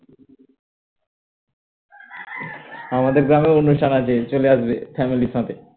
আমাদের গ্রামেও অনুষ্ঠান আছে চলে আসবে family র সাথে